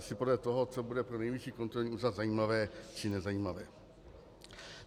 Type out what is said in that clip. Asi podle toho, co bude pro Nejvyšší kontrolní úřad zajímavé či nezajímavé.